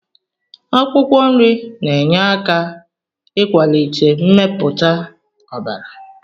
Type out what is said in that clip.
Akwụkwọ nri na-enyere aka ịkwalite mmepụta ọbara.